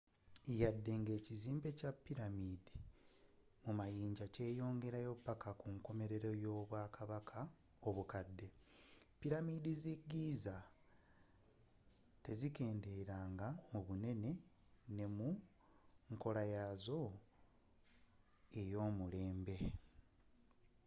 wadde nga ekizimbe kya pyramid mu mayinja kyeyongerayo paka kunkomelero y'obwakabaka obukadde pyramid ze giza tezakendeela mu bunene ne mu nkolayazo eyomulembe